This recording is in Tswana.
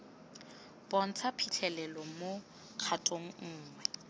bontsha phitlhelelo mo kgatong nngwe